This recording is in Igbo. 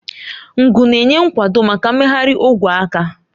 Ngu na-enye nkwado maka mmegharị ogwe aka.